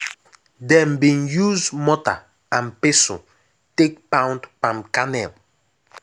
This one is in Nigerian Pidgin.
dem bin use mortar and pestle take pound palm kernel.